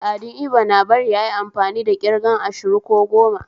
Al'adun Ibo na bari ayi amfani da ƙirgan ashiru ko goma